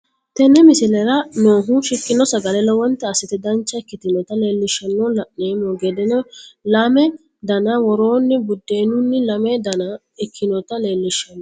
Teene miislera noohu shiikno sagalle loowonta assite daancha ekkitnota leelishanno laanemo geede laame daana wooroni buudenuno laame daana ekkinota leelishanno.